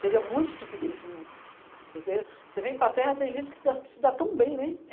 Seria muito estupidez se não... Porque você vem para terra, tem gente que se dá se dá tão bem, né?